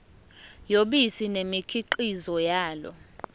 yobisi nemikhiqizo yalo